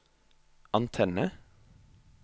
antenne